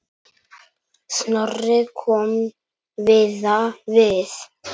Snorri kom víða við.